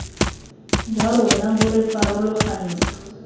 jwa rona bo re farologantsha